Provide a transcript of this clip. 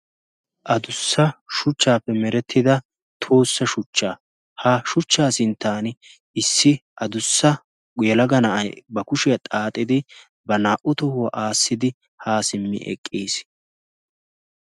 adussa shuchchaappe merettida toossa shuchcha ha shuchchaa sinttan issi adussa elaga na'ay ba kushiyaa xaaxidi ba naa''u tohuwaa aassidi haa simmi eqqiis